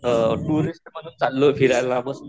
अअ टुरिस्ट म्हणून चाललोय फिरायला